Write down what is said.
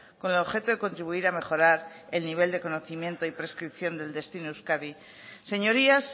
con el objeto de contribuir a mejorar el nivel de conocimiento y prescripción del destino euskadi señorías